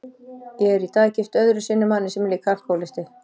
Ég er í dag gift öðru sinni manni sem líka er alkohólisti.